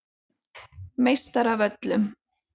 Meistaravöllum